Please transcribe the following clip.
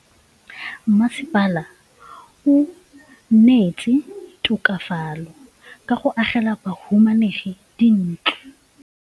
Mmasepala o neetse tokafatsô ka go agela bahumanegi dintlo.